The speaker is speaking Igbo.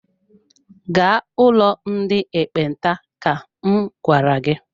Gaa ụlọ ndị ekpenta ka m gwara gị!